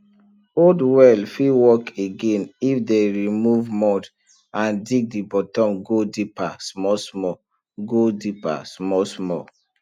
old well fit work again if dem remove mud and dig di bottom go deeper smallsmall go deeper smallsmall